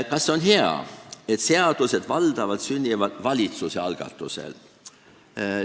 Kas see on hea, et seadused sünnivad valdavalt valitsuse algatusel?